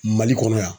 Mali kɔnɔ yan